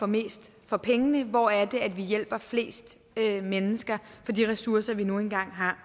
mest for pengene hvor er det vi hjælper flest mennesker for de ressourcer vi nu engang har